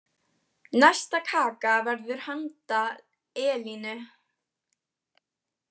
Næsta kaka verður handa Elínu.